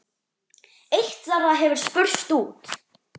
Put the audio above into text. Eitt þeirra hefur spurst út.